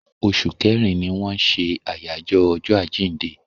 Oṣù kẹrin ni wọ́n ṣe àyájọ́ ọjọ́ àjíǹde.